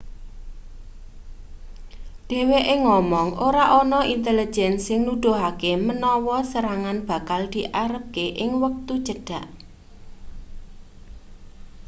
dheweke ngomong ora ana intelejen sing nuduhake menawa serangan bakal diarepake ing wektu cedhak